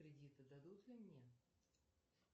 кредиты дадут ли мне